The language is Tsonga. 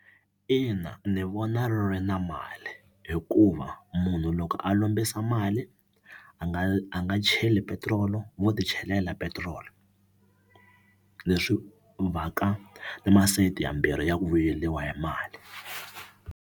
Ina ni vona ri ri na mali hikuva munhu loko a lombisa mali a nga a nga cheli petirolo wo ti chelela petiroli leswi va ka na masayiti yambirhi ya ku vuyeriwa ya mali.